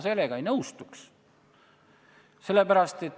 Sellega ma ei nõustuks.